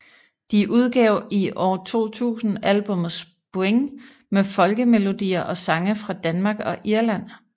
De udgav i år 2000 albummet Spring med folkemelodier og sange fra Danmark og Irland